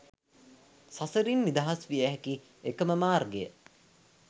සසරින් නිදහස් විය හැකි එකම මාර්ගය